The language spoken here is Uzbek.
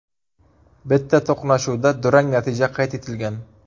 Bitta to‘qnashuvda durang natija qayd etilgan.